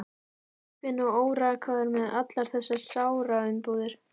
Úfinn og órakaður og með allar þessar sáraumbúðir.